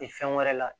E fɛn wɛrɛ la